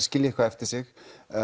skilji eitthvað eftir sig